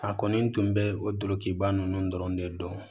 A kɔni tun bɛ o dukiba ninnu dɔrɔn de dɔn